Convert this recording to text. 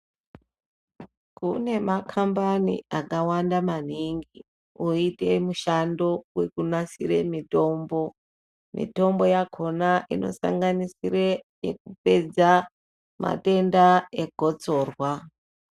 Kune makambani akawanda maningi oite mushando wekunasire mitombo. Mitombo yakona inosanganisire yekupedza matenda egotsorwa.